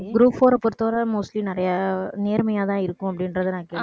group four அ பொறுத்தவரை mostly நிறைய நேர்மையாதான் இருக்கும் அப்படின்றதை நான் கேள்விப்பட்டிருக்கேன்.